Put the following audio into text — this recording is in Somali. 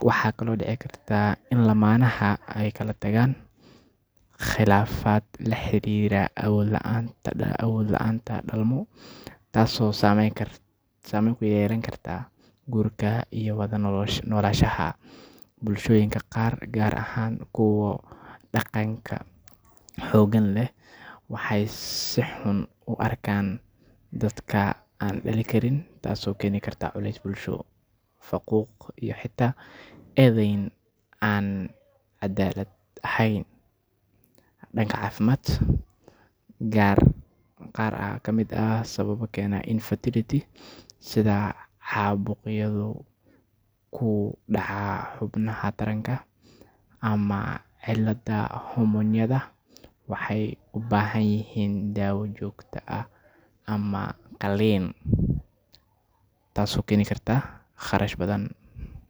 Waxaa kale oo dici karta in lamanaha ey kalatagaan qilaafad laxirira awood laanta dalmo taas oo sameyn kuyeelan karta gurka iyo wadanolaashaha. Bulshooyinka qaar ahaan kuwa daqanka xoogan leh waxey si xun uarkaan dadka aan dalin karin taas oo keni karta culeys bulsho faquuq iyo xita edheyn aan cadaalad aheyn danka cafimad. Qaar aa kamid ah sababa keena infertility sidha xaabuqyadhu kudaca xubnaha taranka ama cidlada hormonyadha waxey ubaahanyihiin daawa joogta ah ama qaliin taas oo keni karta qarash badhan.